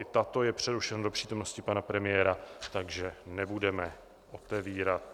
I tato je přerušena do přítomnosti pana premiéra, takže nebudeme otevírat.